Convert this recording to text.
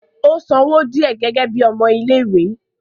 ó san owó díẹ̀ gẹ́gẹ́ bíi ọmọ ilé ìwé